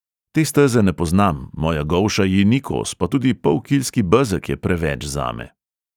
Te steze ne poznam, moja golša ji ni kos, pa tudi polkilski bezeg je preveč zame.